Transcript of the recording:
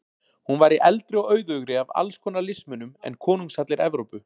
Hún væri eldri og auðugri af alls konar listmunum en konungshallir Evrópu.